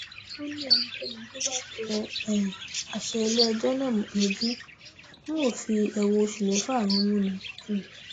ó léńìkéni tó bá tẹ um àṣẹ iléẹjọ náà lójú ń o fi ẹwọn oṣù mẹfà rúnmú ni um